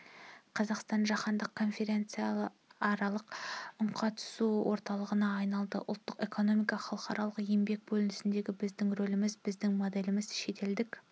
қазақстан жаһандық конфессияаралық үнқатысу орталығына айналды ұлттық экономика халықаралық еңбек бөлінісіндегі біздің рөліміз біздің моделіміз шетелдік